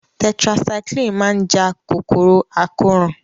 Tetracycline máa ja kòkòrò àkóràn